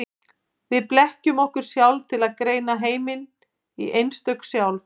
Við blekkjum okkur sjálf til að greina heiminn í einstök sjálf.